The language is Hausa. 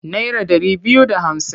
Naira ɗari biyu da hamsin.